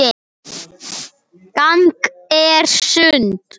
Gangan er sund.